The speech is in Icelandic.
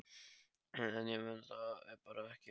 En ég kunni það bara ekki.